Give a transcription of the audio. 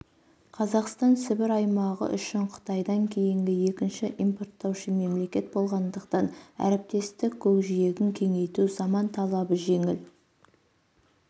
қазақстан сібір аймағы үшін қытайдан кейінгі екінші импорттаушы мемлекет болғандықтан әріптестік көкжиегін кеңейту заман талабы жеңіл